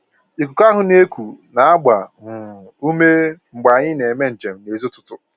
Ikuku ahụ na-eku na-agba um ume mgbe anyị na-eme njem n'èzí ụtụtụ.